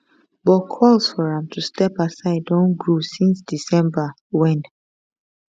but calls for am to step aside don grow since december wen